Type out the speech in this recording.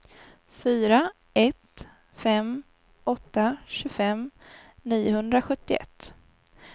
fyra ett fem åtta tjugofem niohundrasjuttioett